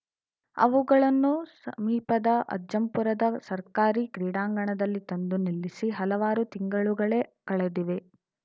ಅವುಗಳನ್ನು ಸಮೀಪದ ಅಜ್ಜಂಪುರದ ಸರ್ಕಾರಿ ಕ್ರೀಡಾಂಗಣದಲ್ಲಿ ತಂದು ನಿಲ್ಲಿಸಿ ಹಲವಾರು ತಿಂಗಳುಗಳೇ ಕಳೆದಿವೆ